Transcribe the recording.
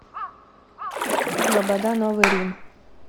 лобода новый рим